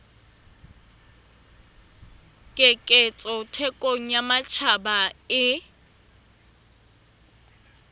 keketseho thekong ya matjhaba e